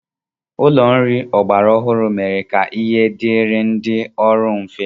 Ụlọ nri ọgbara ọhụrụ mere ka ihe dịịrị ndị ọrụ mfe.